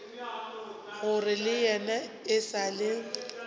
gore yena e sa le